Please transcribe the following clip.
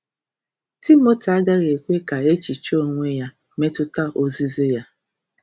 Timoti agaghị ekwe ka echiche onwe ya metụta ozizi ya.